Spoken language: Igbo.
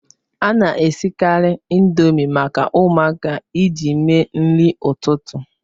A na-esikarị Indomi maka ụmụaka iji mee nri ụtụtụ